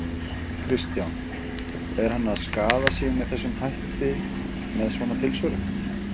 Kristján: Er hann að skaða sig með þessum hætti, með svona tilsvörum?